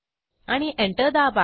आणि एंटर दाबा